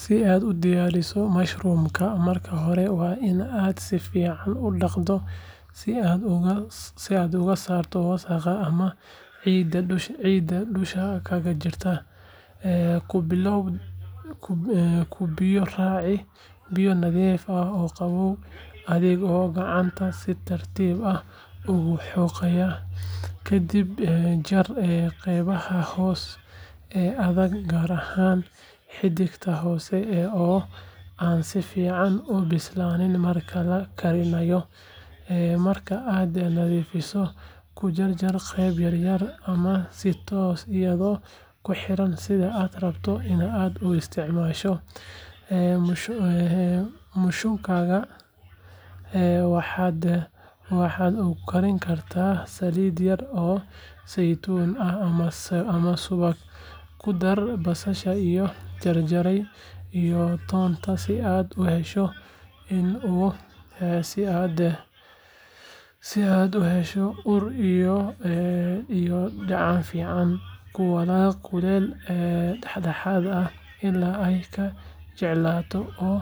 Si aad u diyaariso mushungada, marka hore waa in aad si fiican u dhaqdaa si aad uga saarto wasakhda ama ciidda dusha kaga jirta. Ku biyo raaci biyo nadiif ah oo qabow adigoo gacanta si tartiib ah ugu xoqaya. Kadib jar qaybaha hoose ee adag, gaar ahaan xididka hoose oo aan si fiican u bislaan marka la karinayo. Marka aad nadiifiso, ku jar jar qaybo yaryar ama si toosan iyadoo ku xiran sida aad rabto in aad u isticmaasho. Mushungada waxaad ku karin kartaa saliid yar oo saytuun ah ama subag, ku dar basasha la jarjaray iyo toonta si aad u hesho ur iyo dhadhan fiican. Ku walaaq kuleyl dhexdhexaad ah ilaa ay ka jilcaan oo